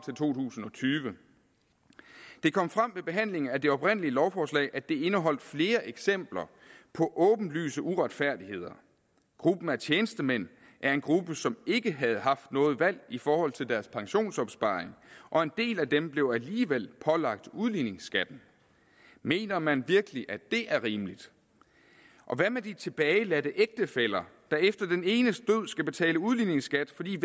tyve det kom frem ved behandlingen af det oprindelige lovforslag at det indeholder flere eksempler på åbenlyse uretfærdigheder gruppen af tjenestemænd er en gruppe som ikke havde haft noget valg i forhold til deres pensionsopsparing og en del af dem blev alligevel pålagt udligningsskatten mener man virkelig at det er rimeligt og hvad med de tilbageværende ægtefæller der efter den enes død skal betale udligningsskat fordi